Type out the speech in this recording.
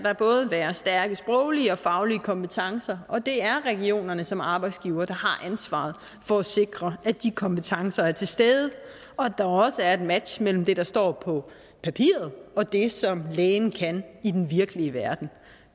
være stærke sproglige og faglige kompetencer og det er regionerne som arbejdsgivere der har ansvaret for at sikre at de kompetencer er til stede og at der også er et match mellem det der står på papiret og det som lægen kan i den virkelige verden